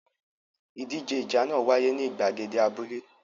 Ìdíje ìjà náà wáyé ní ìgbàgede abúlé.